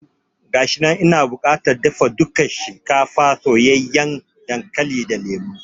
Gashinan, ina bukatar dafa dukan shinkafa, soyayyen dankali da lemo